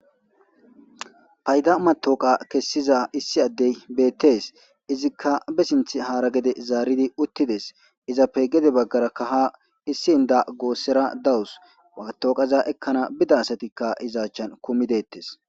Ayda matawuka kessiza issi ade betes. Izika be sinthe hara gedde zaaridi utideess. Izape gede bagaraka ha issi indda gosara de7awus. Matuqeza ekanaw bida asatika achan kummidees.